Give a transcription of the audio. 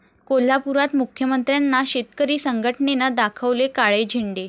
कोल्हापुरात मुख्यमंत्र्यांना शेतकरी संघटनेनं दाखवले काळे झेंडे